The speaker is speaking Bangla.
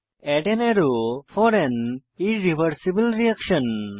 add an arrow for an irreversible reaction